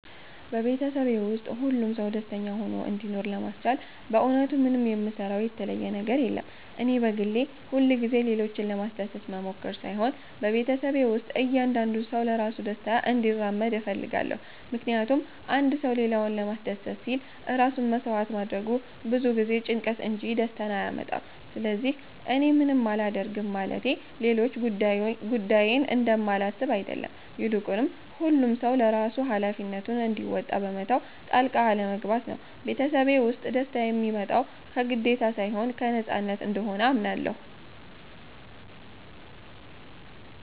በቤተሰቤ ውስጥ ሁሉም ሰው ደስተኛ ሆኖ እንዲኖር ለማስቻል በእውነቱ ምንም የምሰራው የተለየ ነገር የለም። እኔ በግሌ ሁልጊዜ ሌሎችን ለማስደሰት መሞከር ሳይሆን በቤተሰቤ ውስጥ እያንዳንዱ ሰው ለራሱ ደስታ እንዲራመድ እፈልጋለሁ። ምክንያቱም አንድ ሰው ሌላውን ለማስደሰት ሲል ራሱን መሥዋዕት ማድረጉ ብዙ ጊዜ ጭንቀትን እንጂ ደስታን አያመጣም። ስለዚህ እኔ ምንም አላደርግም ማለቴ ሌሎች ጉዳዬን እንደማላስብ አይደለም፤ ይልቁኑ ሁሉም ሰው ለራሱ ሃላፊነቱን እንዲወጣ በመተው ጣልቃ አለመግባት ነው። ቤተሰቤ ውስጥ ደስታ የሚመጣው ከግዴታ ሳይሆን ከነፃነት እንደሆነ አምናለሁ።